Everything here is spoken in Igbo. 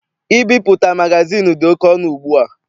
Ibipụta magazịịnụ dị oke ọnụ ugbua.